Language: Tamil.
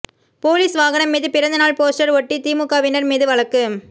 போலீஸ் வாகனம் மீது பிறந்தநாள் போஸ்டர் ஒட்டிய தேமுதிகவினர் மீது வழக்கு